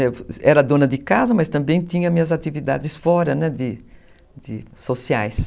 Era dona de casa, mas também tinha minhas atividades fora, né, de de sociais.